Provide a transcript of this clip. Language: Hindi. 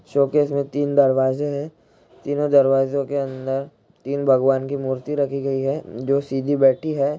शोकेस में तीन दरवाजे हैं | तीनो दरवाजो के अंदर तीन भगवान की मूर्ति रखी गई है जो सीधी बैठी है।